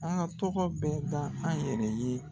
An ka tɔgɔ bɛɛ da an yɛrɛ ye.